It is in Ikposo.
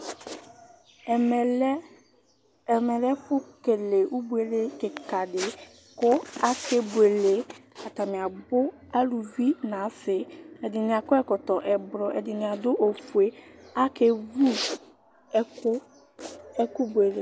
Ɛmɛ lɛ ɛfʋ kele ibuele kika di kʋ akebuele Atani abu, aluvi nʋ asi Ɛdɩnɩ akɔ ɛkɔtɔ ɛblɔ, ɛdɩnɩ adu ofue Akevu ɛkʋbuele